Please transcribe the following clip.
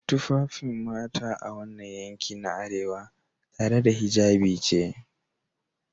Tufafin mata a wannan yanki na arewa, tare da hijabi ce